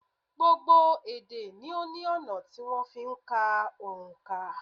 Gbogbo ede ni ó ní ọ̀nà tí wón fi ń ka òǹkà